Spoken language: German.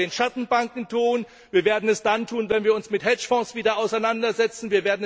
Wir werden es bei den Schattenbanken tun, wir werden es dann tun, wenn wir uns wieder mit Hedgefonds auseinandersetzen.